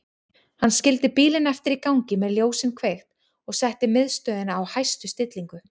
Hann skildi bílinn eftir í gangi með ljósin kveikt og setti miðstöðina á hæstu stillingu.